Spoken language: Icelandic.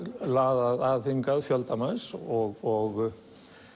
laðað að hingað fjölda manns og